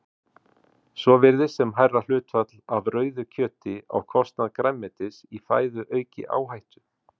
Svo virðist sem hærra hlutfall af rauðu kjöti á kostnað grænmetis í fæðu auki áhættu.